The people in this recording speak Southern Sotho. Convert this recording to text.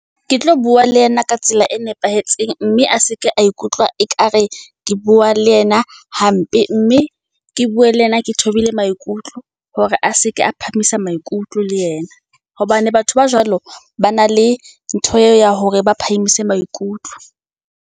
Ke tlo bua le yena ka tsela e nepahetseng mme a seke a ikutlwa ekare ke bua le yena hampe. Mme ke bue le yena ke thobile maikutlo. Hore a seke a phahamisa maikutlo le ena hobane batho ba jwalo ba na le ntho eo ya hore ba phamise maikutlo.